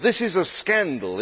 This is a scandal.